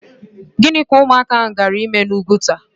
Gịnị ka ụmụaka ahụ gaara ịme n'Úgwùtà?